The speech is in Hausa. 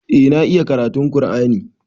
Eh na iya karatun ƙur'ani.